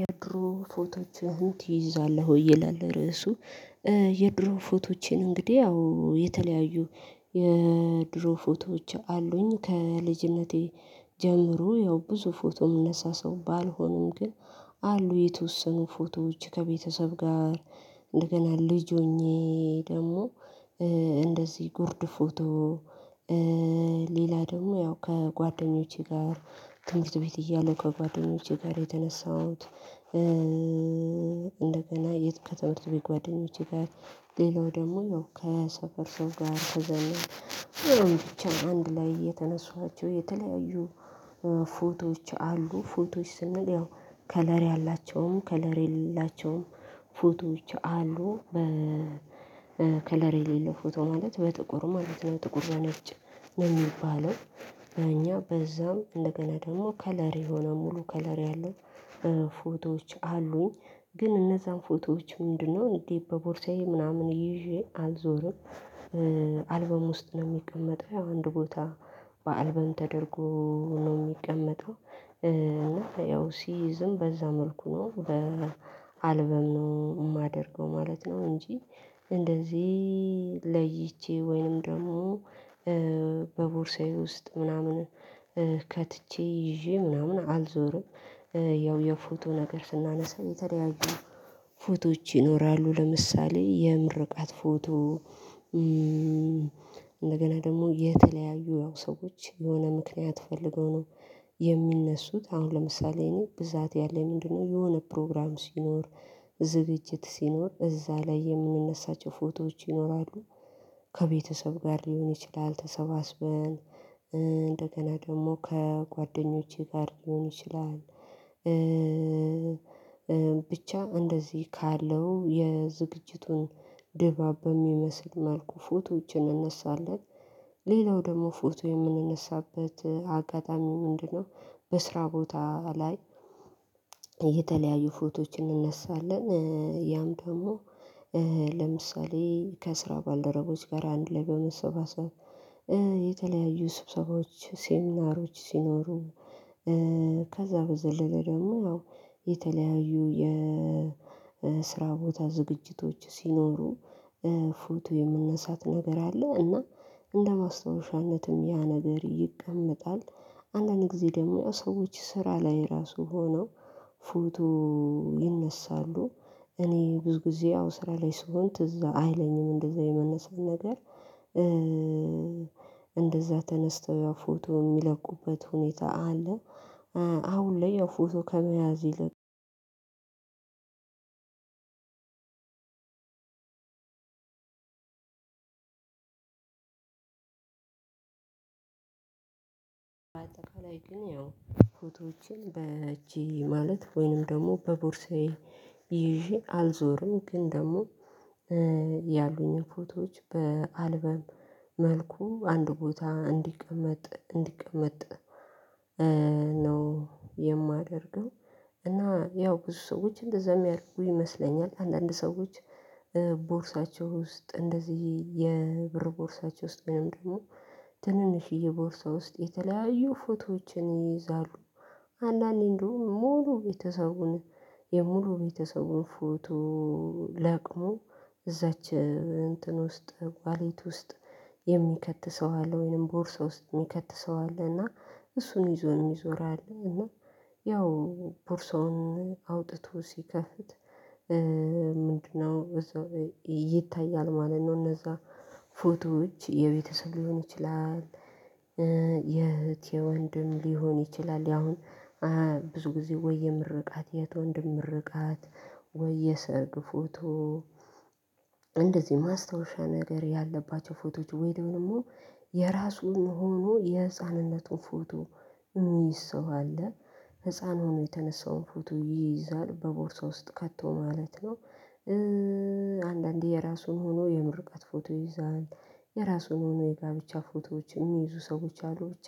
የድሮ ፎቶዎችህን ትይዛለህ ወይ? ይላል ርዕሱ የድሮ ፎቶዎቼን እንግዲህ ያው የተለያዩ የድሮ ፎቶዎች አሉኝ ከልጅነቴ ጀምሮ ያው ብዙ ፎቶ የምነሳ ሰው ባልሆንም ግን አሉ የተወሰኑ ፎቶዎች ከቤተሰብ ጋር፤ እንደገና ልጅ ሆኜ ደግሞ እንደዚህ ጉርድ ፎቶ፤ ሌላ ደግሞ ያው ከጓደኞቼ ጋር ትምሀርት ቤት እያለሁ ከጓደኞቼ ጋር የተነሳሁት እንደገና የት ከትምህርት ቤት ጓደኞቼ ጋር ሌላው ደግሞ ያው ከሰፈር ሰው ጋር ከዘመድ ወይም ብቻ አንድ ላይ የተነሳኋቸው የተለያዩ ፎቶዎች አሉ። ፎቶዎች ስንል ያው ከለር ያላቸውም ከለር የሌላቸውም ፎቶዎች አሉ በ ከለር የሌለው ፎቶ ማለት በጥቁር ማለት ነው ጥቁር በነጭ ነው የሚባለው በእኛ። በዛም እንደገና ደግሞ ከለር የሆነ ሙሉ ከለር ያለው ፎቶዎች አሉኝ ግን እነዛን ፎቶዎች ምንድነው እንዲ በቦርሳዬ ምናምን ይዤ አልዞርም አልበም ውስጥ ነው የሚቀመጠው ያው አንድ ቦታ በአልበም ተደርጎ ነው የሚቀመጠው እና ያው ሲይዝም በዛ መልኩ ነው በአልበም ነው የማደርገው ማለት ነው እንጂ እንደዚህ ለይቼ ወይንም ደግሞ በቦርሳዬ ውስጥ ምናምን ከትቼ ይዤ ምናምን አልዞርም ያው የፎቶ ነገር ስናነሳ የተለያዩ ፎቶዎች ይኖራሉ ለምሳሌ የምርቃት ፎቶ እንደገና ደግሞ የተለያዩ ያው ሰዎች የሆነ ምክንያት ፈልገው ነው የሚነሱት። አሁን ለምሳሌ እኔ ብዛት ያለኝ ምንድነው የሆነ ፕሮግራም ሲኖር እዛ ዝግጅት ሲኖር እዛ ላይ የምንነሳቸው ፎቶዎች ይኖራሉ። ከቤተሰብ ጋር ሊሆን ይችላል ተሰባስበን እንደገና ደግሞ ከጓደኞቼ ጋር ሊሆን ይችላል ብቻ እንደዚህ ካለው የዝግጅቱን ድባብ በሚመስል መልኩ ፎቶዎችን እነሳለን። ሌላው ደግሞ ፎቶ የምንነሳበት አጋጣሚ ምንድነው በስራ ቦታ ላይ የተለያዩ ፎቶዎችን እንነሳለን። ያም ደግሞ ለምሳሌ ከስራ ባልደረቦች ጋር አንድ ላይ በመሰባሰብ የተለያዩ ስብሰባዎች ሴሚናሮች ሲኖሩ ከዛ በዘለለ ደግሞ ያው የተለያዩ የስራ ቦታ ዝግጅቶች ሲኖሩ ፎቶ የምነሳት ነገር አለ። እና እንደ ማስታወሻነትም ያ ነገር ይቀመጣል አንዳንድ ጊዜ ደግሞ ያው ሰዎች ስራ ላይ ራሱ ሆነው ፎቶ ይነሳሉ። እኔ ብዙ ጊዜ አዎ ስራ ላይ ስሆን ትዝ አይለኝም እንደዛ የመነሳት ነገር። እንደዛ ተነስተው ያው ፎቶ የሚለቁበት ሁኔታ አለ። አሁን ላይ ያው የፎቶ ከመያዝ ይልቅ ፎቶዎች በእጅ ማለት ወይንም ደግሞ በቦርሳዬ ይዤ አልዞርም ግን ደግሞ ያሉኝን ፎቶዎች በአልበም መልኩ አንድ ቦታ እንዲቀመጥ እንዲቀመጥ ነው የማደርገው እና ያው ብዙ ሰዎች እንደዛ የሚያደርጉ ይመስለኛል። አንዳንድ ሰዎች ቦርሳቸው ውስጥ እንደዚህ የብር ቦርሳቸው ውስጥ ወይም ደግሞ ትንንሽዬ ቦርሳ ውስጥ የተለያዩ ፎቶዎችን ይይዛሉ። አንዳንዴ እንደውም ሙሉ ቤተሰቡን የሙሉ ቤተሰቡን ፎቶ ለቅሞ እዛች እንትን ውስጥ ዋሌት ውስጥ የሚከት ሰው አለ ወይንም ቦርሳ ውስጥ የሚከት ሰው አለ እና እሱን ይዞ የሚዞር አለ እና ያው ቦርሳውን አውጥቶ ሲከፍት ምንድነው ይታያል ማለት ነው እነዛ ፎቶዎች የቤተሰብ ሊሆን ይችላል የእህት የወንድም ሊሆን ይችላል ያሁን ብዙ ጊዜ ወይ የምርቃት የእህት ወንድም ምርቃት ወይ የሰርግ ፎቶ እንደዚህ ማስታወሻ ነገር ያለባቸው ፎቶዎች ወይ ደሞ የራሱን ሆኖ የህፃንነቱን ፎቶ የሚይዝ ሰው አለ። ህፃን ሆኖ የተነሳውን ፎቶ ይይዛል በቦርሳው ውስጥ ከቶ ማለት ነው። አንዳንዴ የራሱን ሆኖ የምርቃት ፎቶ ይይዛል። የራሱን ሆኖ የጋብቻ ፎቶዎች የሚይዙ ሰዎች አሉ። ብቻ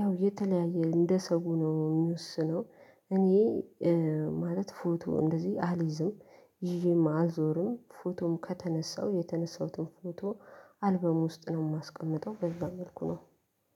ያው የተለያየ እንደ ሰው ነው የሚወስነው። እኔ ማለት ፎቶ እንደዚህ አልይዝም ይዤም አልዞርም። ፎቶም ከተነሳው የተነሳሁትን ፎቶ አልበም ውስጥ ነው የማስቀምጠው። በዛ መልኩ ነው